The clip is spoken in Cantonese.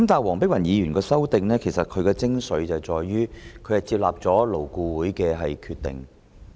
黃議員的修正案的精髓，在於納入了勞工顧問委員會的決定。